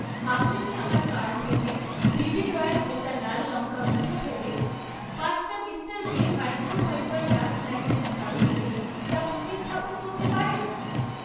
আপনি কি আমার কার্ট থেকে বিবি রয়াল গোটা লাল লঙ্কা মুছে ফেলে পাঁচটা Mr Gleam microfibre dust magnet ঝাড়ু দিয়ে তা প্রতিস্থাপন করতে পারেন?